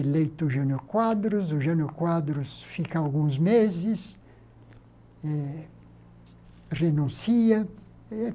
Eleito o Jânio Quadros, o Jânio Quadros fica alguns meses, eh renuncia.